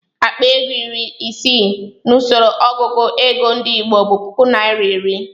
Akpa ego iri ise n'usoro ọgụgụ ego ndị Igbo bụ puku naira iri.